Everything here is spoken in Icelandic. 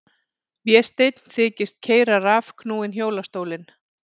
Vésteinn þykist keyra rafknúinn hjólastólinn.